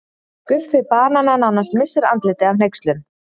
Guffi banani nánast missir andlitið af hneykslun.